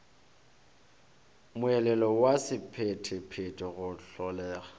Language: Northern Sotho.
moelelo wa sephethephethe go hlolega